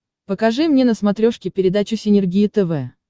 покажи мне на смотрешке передачу синергия тв